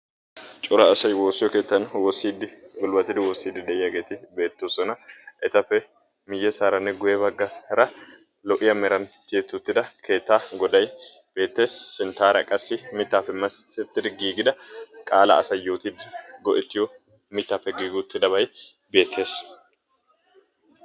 Cora asay woossiyo keettaan woossidi gulbbattidi woossidi deiyagetti beettosona. Etappe miyyessaaranne guye baggassaara lo''iya meran tiyetti uttida keettaa goday beetees. Sinttaraa qaassi mittappe masettidi giigida qaalaa asay yootidi go'ettiyo mittappe gigidabay beetees.